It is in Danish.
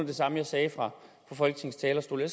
det samme jeg sagde fra folketingets talerstol jeg